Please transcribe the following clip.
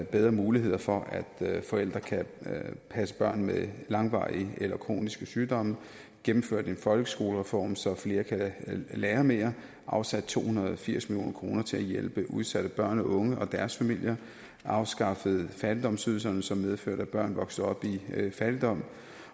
bedre muligheder for at forældre kan passe børn med langvarige eller kroniske sygdomme gennemført en folkeskolereform så flere kan lære mere afsat to hundrede og firs million kroner til at hjælpe udsatte børn og unge og deres familier og afskaffet fattigdomsydelserne som medførte at børn voksede op i fattigdom